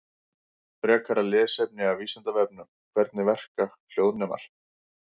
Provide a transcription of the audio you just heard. Frekara lesefni af Vísindavefnum: Hvernig verka hljóðnemar?